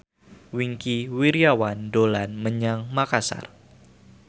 Wingky Wiryawan dolan menyang Makasar